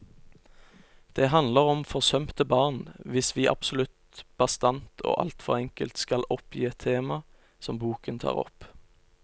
Det handler om forsømte barn, hvis vi absolutt bastant og alt for enkelt skal oppgi et tema som boken tar opp.